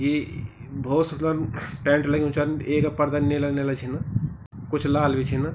यि ई-ई भौत सुदलम टेंट लग्यूं चा येका पर्दा नीला नेला छिना कुछ लाल बि छिना।